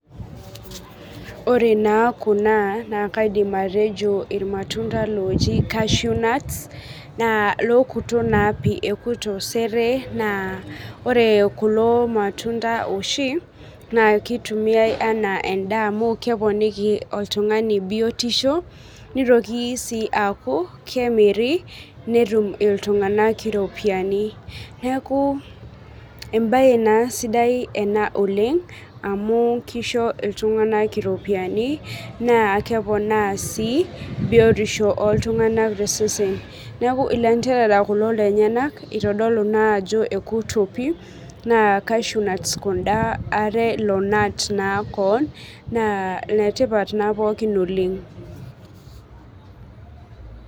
Ore naa kuna naa kaidim atejo irmatunda loji cashew nuts naa lokuto naa pii ekuto sere naa ore kulo matunda oshi naa kitumiae enaa endaa amu keponiki oltung'ani biotisho nitoki sii aaku kemiri netum iltung'anak iropiani neeku embaye naa sidai ena oleng amu kisho iltung'anak iropiyiani naa keponaa sii biotisho oltung'anak tosesen neku ilanterara kulo lenyenak itodolu naa ajo ekuto pii naa cashew nuts kunda are lonat koon naa inetipat naa pookin oleng.